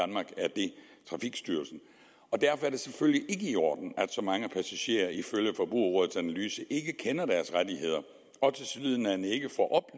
trafikstyrelsen derfor er det selvfølgelig i orden at så mange passagerer ifølge forbrugerrådets analyse ikke kender deres rettigheder og tilsyneladende ikke får